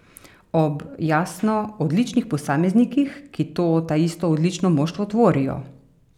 Ob, jasno, odličnih posameznikih, ki to taisto odlično moštvo tvorijo.